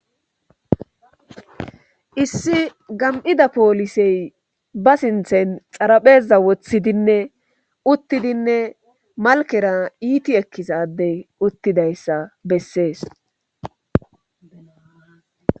Issi gam7ida poolisey ba sinthen xarapheza woththidinne uttidinne malkera iiti ekkizade uttidayssa bessees.